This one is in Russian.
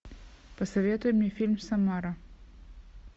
посоветуй мне фильм самара